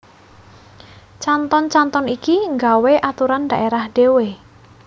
Canton canton iki nggawé aturan daerah dhewe